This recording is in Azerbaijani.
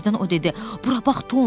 Birdən o dedi: "Bura bax, Tom.